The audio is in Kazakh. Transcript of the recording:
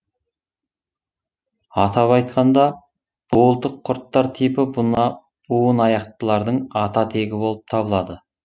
атап айтқанда буылтық құрттар типі буынаяқтылардың ата тегі болып табылады